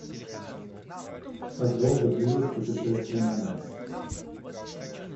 как долго длилось путешествие на марс